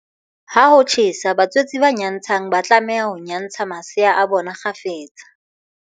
Ha ho tjhesa haholo, batswetse ba nyantshang ba tlameha ho nyantsha masea a bona kgafetsa.